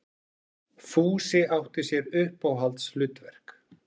Fúsi átti sér uppáhaldshlutverk.